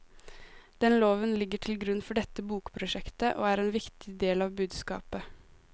Den loven ligger til grunn for dette bokprosjektet, og er en viktig del av budskapet.